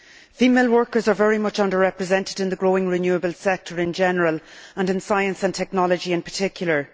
Female workers are very much under represented in the growing renewable sector in general and in science and technology in particular.